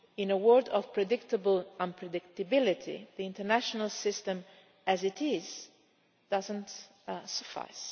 In a world of predictable unpredictability, the international system as it is does not